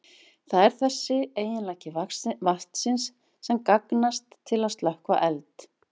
Það er þessi eiginleiki vatnsins sem gagnast til að slökkva eld.